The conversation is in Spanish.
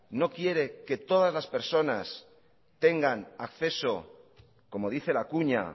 no quiere que todas las personas tengan acceso como dice la cuña